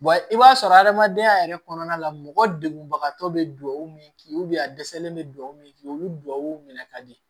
i b'a sɔrɔ adamadenya yɛrɛ kɔnɔna la mɔgɔ degunbaga tɔ bɛ duwawu min k'i ye a dɛsɛlen bɛ dugawu min k'i bi duwawu minɛ ka di